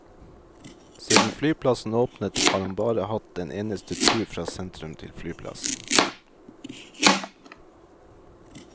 Siden flyplassen åpnet, har han bare hatt en eneste tur fra sentrum til flyplassen.